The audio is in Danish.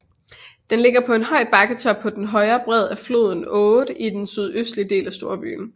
Den ligger på en høj bakketop på den højre bred af floden Aude i den sydøstlige del af storbyen